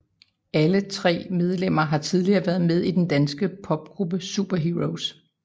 Alle tre medlemmer har tidligere været med i den danske popgruppe Superheroes